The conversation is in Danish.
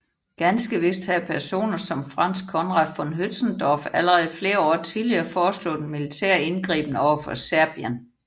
Ganske vist havde personer som Franz Conrad von Hötzendorf allerede flere år tidligere foreslået en militær indgriben overfor Serbien